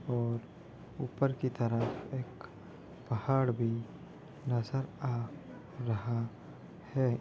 और ऊपर की तरफ एक पहाड़ भी नजर आ रहा है।